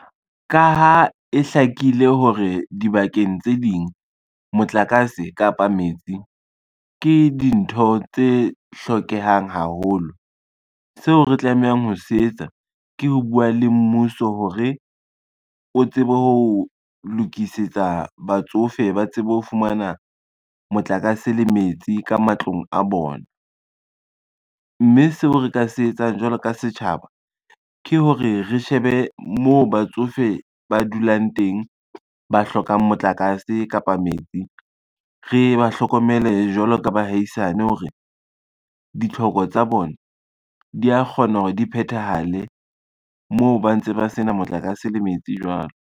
Ka ha e hlakile hore dibakeng tse ding, motlakase kapa metsi, ke dintho tse hlokehang haholo. Seo re tlamehang ho se etsa ke ho bua le mmuso hore, o tsebe ho lokisetsa batsofe ba tsebe ho fumana motlakase le metsi ka matlong a bona, mme seo re ka se etsang jwalo ka setjhaba ke hore re shebe moo batsofe ba dulang teng, ba hlokang motlakase kapa metsi, re ba hlokomele jwalo ka bahaisane hore ditlhoko tsa bona di a kgona hore di phethahale moo ba ntse ba sena motlakase le metsi jwalo.